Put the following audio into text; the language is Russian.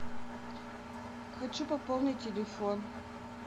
хочу пополнить телефон